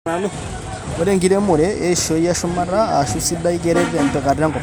Ore enkiremore eishoi esumata ashu sidai keret tempikata enkop.